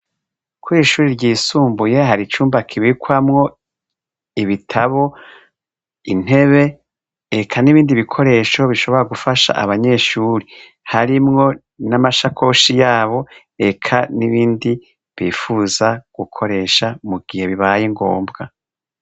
Ko ishuri ryisumbuye hari icumba kibikwamwo ibitabo intebe eka n'ibindi bikoresho bishobora gufasha abanyeshuri harimwo n'amashakoshi yabo eka n'ibindi bifuza gukoresha mu gihe bibaye ngombwa.